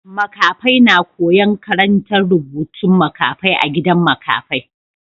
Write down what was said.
Makafai na koya'n karantan rubutun makafai a gidan makafai.